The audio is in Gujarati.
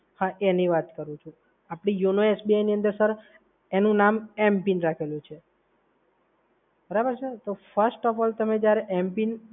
હા એની વાત કરું છું. આપડે yono SBI ની અંદર સર એનું નામ m-pin રાખેલું છે. બરાબર છે? તો first of all જ્યારે તમે m-pin